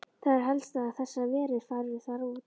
Það er helst að þessar verur fari þar út.